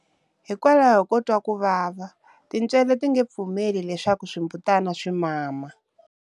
Hikwalaho ko twa ku vava, tintswele ti nge pfumeli leswaku swimbutana swi mama.